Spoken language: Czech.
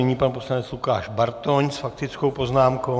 Nyní pan poslanec Lukáš Bartoň s faktickou poznámkou.